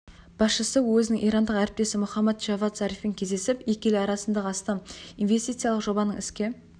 басшысы өзінің ирандық әріптесі мұхаммад джавад зарифпен кездесіп екі ел арасындағы астам инвестициялық жобаның іске